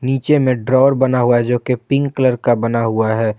नीचे में ड्रोवर बना हुआ है जो की पिंक कलर का बना हुआ है।